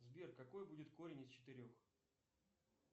сбер какой будет корень из четырех